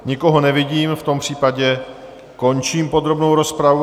Nikoho nevidím, v tom případě končím podrobnou rozpravu.